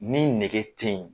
Ni nege te yen